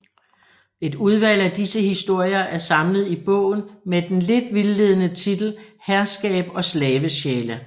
Et udvalg af disse historier er samlet i bogen med den lidt vildledende titel Herskab og Slavesjæle